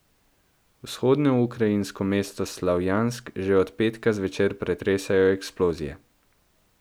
Vzhodnoukrajinsko mesto Slavjansk že od petka zvečer pretresajo eksplozije.